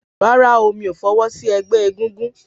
Rárá o, mí ò fọwọ́ sí ẹgbẹ́ egúngún